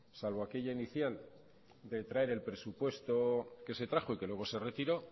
salvo aquella inicial de traer el presupuesto que se trajo y que luego se retiró